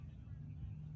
Buyur, canım.